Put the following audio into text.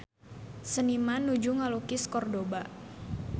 Seniman nuju ngalukis Kordoba